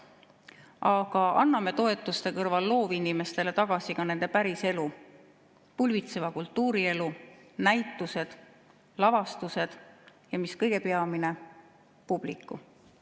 Aga anname toetuste kõrval loovinimestele tagasi ka nende päriselu, pulbitseva kultuurielu, näitused, lavastused, ja mis kõige peamine, publiku.